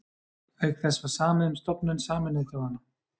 Auk þess var samið um stofnun Sameinuðu þjóðanna.